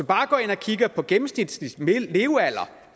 bare går ind og kigger på den gennemsnitlige levealder